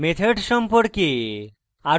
methods সম্পর্কে